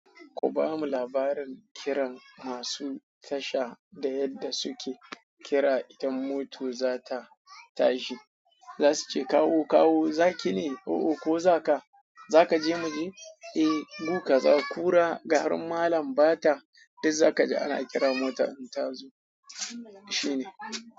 Ku ba mu labarin kiran masu tasha da yadda suke kira idan mota za ta tashi. Za su ce kawo, kawo, za ki ne? Oo ko za ka, za ka je muje? Eh, buƙa, za ku ra, ga har malam ba ta. Duk za ka ji ana kira mota in ta zo. Shi ne.